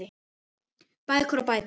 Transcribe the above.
Bækur og bækur.